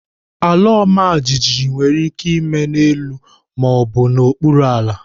Alaọmajijiji nwere ike ime n'elu ma ọ bụ n'okpuru ala.